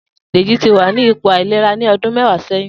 Deji ti wà ni ipó àilérá làtí ọ̀dùn mẹ̀wá sẹ̀yín